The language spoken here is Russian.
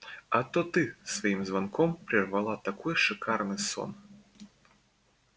а то ты своим звонком прервала такой шикарный сон